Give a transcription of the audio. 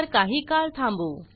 तर काही काळ थांबू